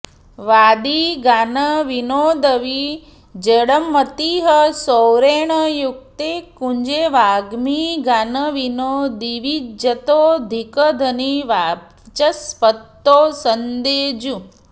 वादी गानविनोदविज्जडमतिः सौरेण युक्ते कुजे वाग्मी गानविनोदविज्जतोऽधिकधनी वाचस्पतौ सेन्दुजे